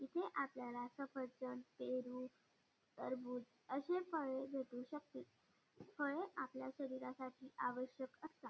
इथे आपल्याला सफरचंद पेरू टरबूज असे फळे भेटू शकतील फळे आपल्या शरीरासाठी आवश्यक असतात.